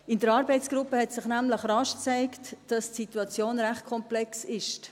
In der Arbeitsgruppe hat sich nämlich schnell gezeigt, dass die Situation recht komplex ist.